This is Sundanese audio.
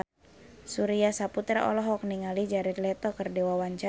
Surya Saputra olohok ningali Jared Leto keur diwawancara